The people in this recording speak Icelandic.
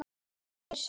sagði ég hissa.